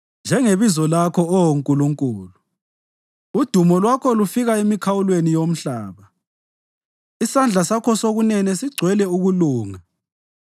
Njengebizo lakho, Oh Nkulunkulu, udumo lwakho lufika emikhawulweni yomhlaba; isandla sakho sokunene sigcwele ukulunga.